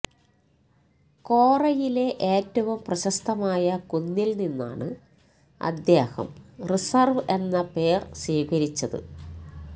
കോറയിലെ ഏറ്റവും പ്രശസ്തമായ കുന്നിൽ നിന്നാണ് അദ്ദേഹം റിസർവ് എന്ന പേര് സ്വീകരിച്ചത്